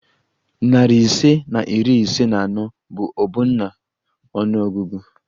Narị ise na iri isii na anọ bụ ọbụna ọnụ ọgụgụ